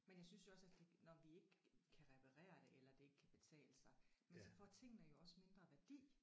Men jeg synes jo også at det når vi ikke kan reparere det eller det ikke kan betale sig men så får tingene jo også mindre værdi